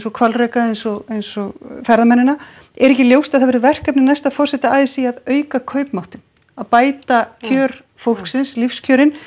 hvalreka eins og eins og ferðamennina er ekki ljóst að það verður verkefni næsta forseta a s í að auka kaupmáttinn að bæta kjör fólksins lífskjörin